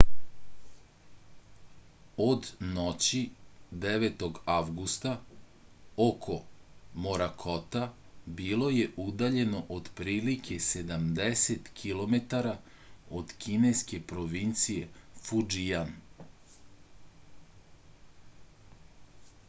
od noći 9. avgusta oko morakota bilo je udaljeno otprilike sedamdeset kilometara od kineske provincije fudžijan